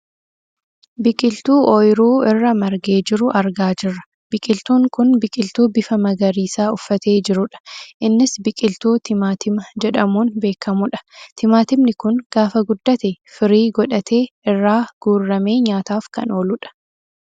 Biqiltuu ooyiruu irra margee jiru argaa jirra. Biqiltuun kun biqiltuu bifa magariisaa uffatee jirudha. Innis biqiltuu timaatima jedhamuun beekkamudha. Timaatimni kun gaafa guddate firii godhate irraa guurramee nyaataaf kan ooludha.